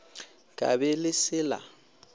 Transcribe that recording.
ka be le se la